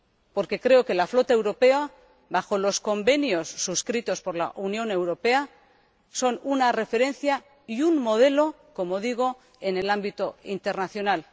Porque creo que la flota europea, al amparo de los convenios suscritos por la Unión Europea, es una referencia y un modelo, como digo, en el ámbito internacional.